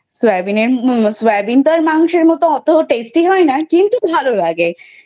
সয়াবিনের সয়াবিন তো আর মাংসের মতো এত Tasty হয়না কিন্তু ভালো লাগে।